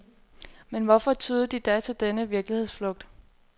Men hvorfor tyede de da til denne virkelighedsflugt?